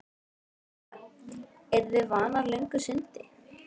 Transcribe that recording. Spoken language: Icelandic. Linda: Eru þið vanar löngu sundi?